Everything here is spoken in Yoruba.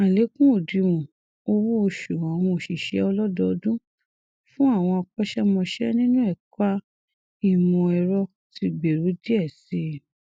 àlékún òdiwọn owó oṣù àwọn òṣìṣẹ ọlọdọọdún fún àwọn akọṣẹmọṣẹ nínú ẹka ìmọẹrọ ti gbèrú díẹ sí i